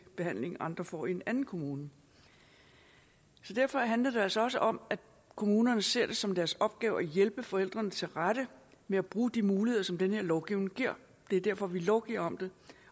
behandling andre får i en anden kommune derfor handler det altså også om at kommunerne ser det som deres opgave at hjælpe forældrene tilrette ved at bruge de muligheder som den her lovgivning giver det er derfor vi lovgiver om det